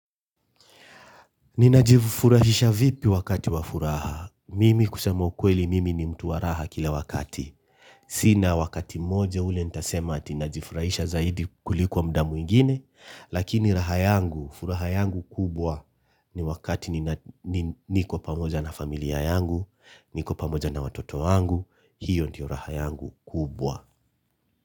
Nina jifurahisha vipi wakati wa furaha? Mimi kusema ukweli mimi ni mtu wa raha kila wakati. Sina wakati moja ule nitasema ati na jifurahisha zaidi kuliko mda mwingine, lakini raha yangu, furaha yangu kubwa ni wakati niko pamoja na familia yangu, niko pamoja na watoto wangu, hiyo ndio raha yangu kubwa.